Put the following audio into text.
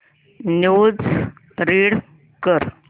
news read कर